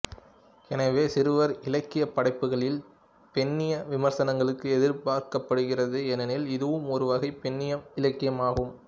எனவே சிறுவர் இலக்கியப் படைப்புகளில் பெண்ணிய விமர்சனங்களும் எதிர்பார்க்கப்படுகிறது ஏனெனில் இதுவும் ஒரு வகை பெண்ணிய இலக்கியம் ஆகும்